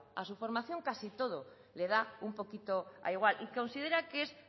a su formación casi todo le da un poquito igual y considera que es